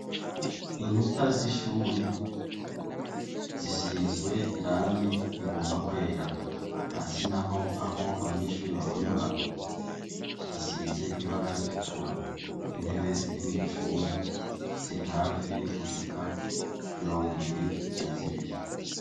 Inkuta z’ishuri ,zisizwe irangi rigomba kwera. Hasi naho aho abanyeshure bahonyora, hasize ibara ritukura. Intebe ziri mw’iryo shure ziri hafi gushika mirongibiri na zibiri.